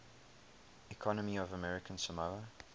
economy of american samoa